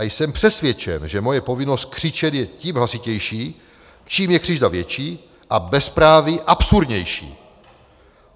A jsem přesvědčen, že moje povinnost křičet je tím hlasitější, čím je křivda větší a bezpráví absurdnější.